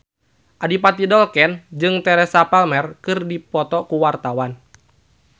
Adipati Dolken jeung Teresa Palmer keur dipoto ku wartawan